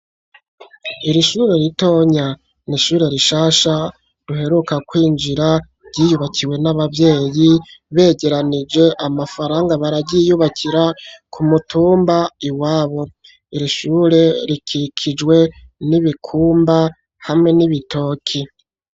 Iri shure ritonya n'ishure rishasha ruheruka kwinjira byiyubakiwe n'ababyeyi begeranije amafaranga baragiyubakira ku mutumba iwabo iri shure rikikijwe nibikumba hamwe n'ibitoki.